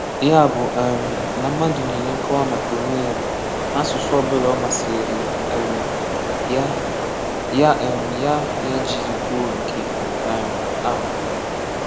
Yá bụ́ um ná mmadụ̀ nyeré nkọ̀wà maka onwe ya, n’àsụsụ̀ ọ̀bụ̀là ọ̀ màsịrị́rị um ya yá um ya yá jiri kwùọ nkè um á.